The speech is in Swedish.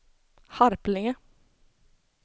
Harplinge